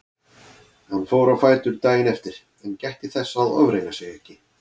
Hann fór á fætur daginn eftir en gætti þess að ofreyna sig ekki.